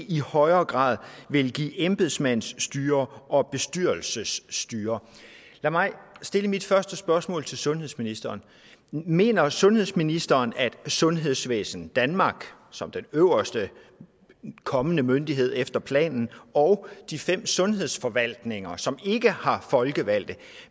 i højere grad vil give embedsmandsstyre og bestyrelsesstyre lad mig stille mit første spørgsmål til sundhedsministeren mener sundhedsministeren at sundhedsvæsen danmark som den øverste kommende myndighed efter planen og de fem sundhedsforvaltninger som ikke har folkevalgte